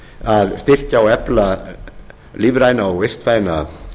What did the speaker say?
að styrkja og efla lífræna og vistvæna